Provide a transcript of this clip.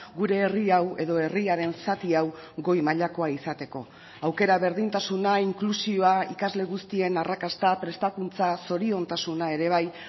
gure herri hau edo herriaren zati hau goi mailakoa izateko aukera berdintasuna inklusioa ikasle guztien arrakasta prestakuntza zoriontasuna ere bai